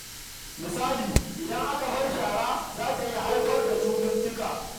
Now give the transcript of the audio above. Misali, idan aka bar shara, za ta iya haifar da cututtuka.